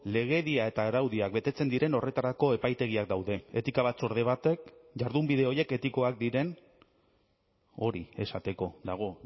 legedia eta araudiak betetzen diren horretarako epaitegiak daude etika batzorde batek jardunbide horiek etikoak diren hori esateko dago